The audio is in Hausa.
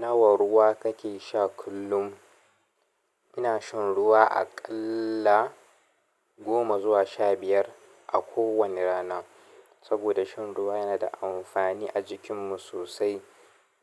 Nawa ruwa kake sha kullum? Ina shan ruwa aƙalla goma zuwa sha biyar a kowani rana. Saboda shan ruwa yana da amfani a jikin mu sosai.